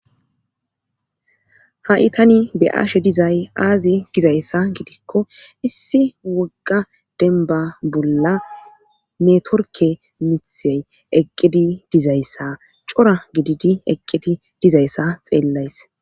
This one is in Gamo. ha'i tani be'aashe dizay aazi gizayssa gidikko issi wogga denba bolla netorke mithey eqqidi dizayssa cora gididi eqqidi dizayssa xeellays